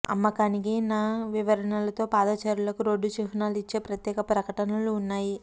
అమ్మకానికి న వివరణలు తో పాదచారులకు రోడ్డు చిహ్నాలు ఇచ్చే ప్రత్యేక ప్రకటనలు ఉన్నాయి